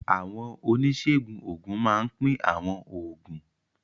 Àwọn oníṣègùn òògùn máa ń pín àwọn oògùn.